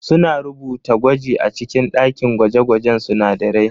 Suna rubuta gwaji a cikin ɗakin gwaje-gwajen sunadarai.